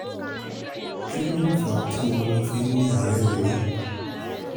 kí ló fà á tí ọmọ mi fi ní àárẹ̀ orí?